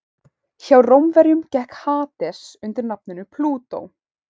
hjá rómverjum gekk hades undir nafninu plútó